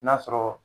N'a sɔrɔ